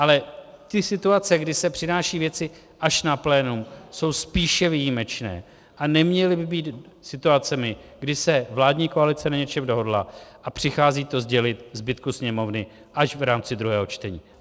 Ale ty situace, kdy se přinášejí věci až na plénum, jsou spíše výjimečné a neměly by být situacemi, kdy se vládní koalice na něčem dohodla a přichází to sdělit zbytku Sněmovny až v rámci druhého čtení.